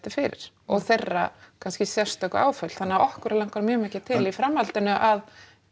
fyrir og þeirra kannski sérstöku áföll þannig að okkur langar mjög mikið til í framhaldinu að